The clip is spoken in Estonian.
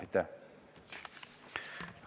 Aitäh!